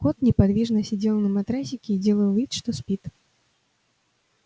кот неподвижно сидел на матрасике и делал вид что спит